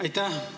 Aitäh!